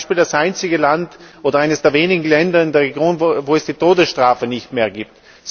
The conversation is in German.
Es ist zum Beispiel das einzige Land oder eines der wenigen Länder in der Region, wo es die Todesstrafe nicht mehr gibt.